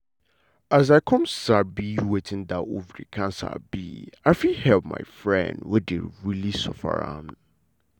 as i come sabi wetin that ovary cancer be i fit help my friend wey dey really suffer from am.